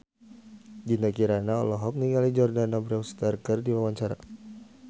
Dinda Kirana olohok ningali Jordana Brewster keur diwawancara